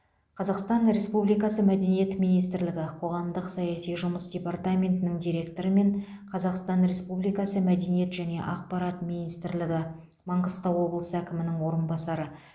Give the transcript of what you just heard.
қазақстан республикасы мәдениет министрлігі қоғамдық саяси жұмыс департаментінің директоры мен қазақстан республикасы мәдениет және ақпарат министрлігі маңғыстау облысы әкімінің орынбасары